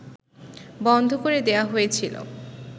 বন্ধ করে দেয়া হয়েছিল